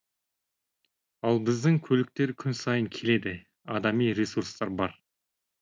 ал біздің көліктер күн сайын келеді адами ресурстар бар